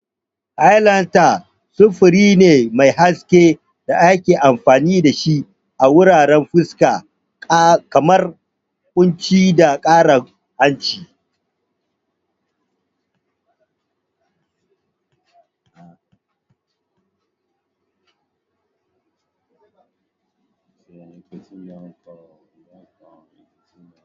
Highlighter samfuri ne mai haske da ake amfani da shi a wuraren fuska, kamar kunci da karan hanci.